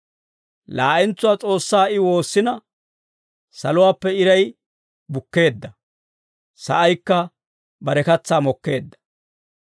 Laa'entsuwaa S'oossaa I woossina, saluwaappe iray bukkeedda; sa'aykka bare katsaa mokkeedda.